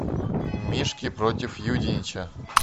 мишки против юденича